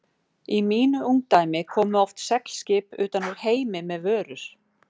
Í mínu ungdæmi komu oft seglskip utan úr heimi með vörur.